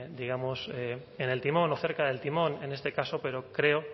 digamos en el timón o cerca del timón en este caso pero creo